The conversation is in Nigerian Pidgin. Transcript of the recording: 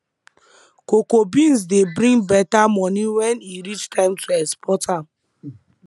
cocoa beans dey bring better money when e reach time to export am